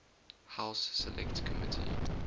house select committee